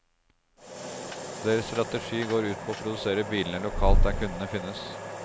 Deres strategi går ut på å produsere bilene lokalt der kundene finnes.